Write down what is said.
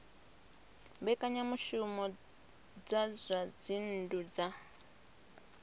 mbekanyamushumo dza zwa dzinnu dza